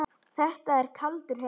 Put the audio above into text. Þetta er kaldur heimur.